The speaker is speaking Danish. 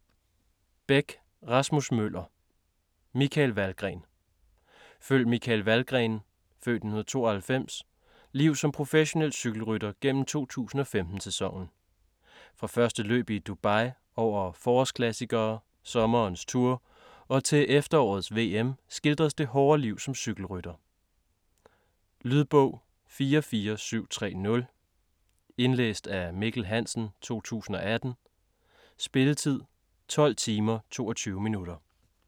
Bech, Rasmus Møller: Michael Valgren Følg Michael Valgrens (f. 1992) liv som professionel cykelrytter gennem 2015-sæsonen. Fra første løb i Dubai, over forårsklassikere, sommerens Tour og til efterårets VM, skildres det hårde liv som cykelrytter. Lydbog 44730 Indlæst af Mikkel Hansen, 2018. Spilletid: 12 timer, 22 minutter.